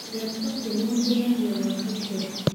Kũrĩa prĩteĩnĩ gũteĩthagĩa gwaka ĩkere